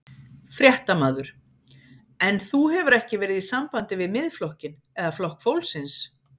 Fréttamaður: En þú hefur ekki verið í sambandi við Miðflokkinn eða Flokk fólksins?